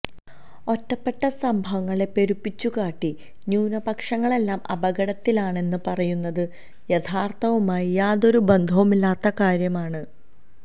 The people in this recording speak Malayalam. ഒറ്റപ്പെട്ട സംഭവങ്ങളെ പെരുപ്പിച്ചുകാട്ടി ന്യൂനപക്ഷങ്ങളെല്ലാം അപകടത്തിലാണെന്ന് പറയുന്നത് യാഥാർഥ്യവുമായി യാതൊരു ബന്ധവുമില്ലാത്ത കാര്യമാണ്